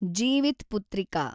Jivitputrika